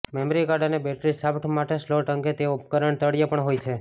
memory card અને battery shaft માટે slot અંગે તેઓ ઉપકરણ તળિયે પણ હોય છે